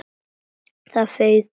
Það fauk í mig.